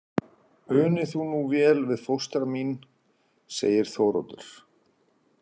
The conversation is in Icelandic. Uni þú nú vel við fóstra mín, segir Þóroddur.